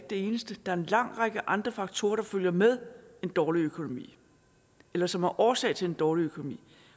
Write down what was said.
det eneste der er en lang række andre faktorer der følger med en dårlig økonomi eller som er årsag til en dårlig økonomi